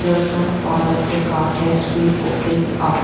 The front part of the car has been opened up.